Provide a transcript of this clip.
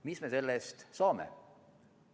Mis me selle eest saame?